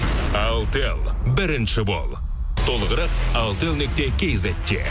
алтел бірінші бол толығырақ алтел нүкте кизетте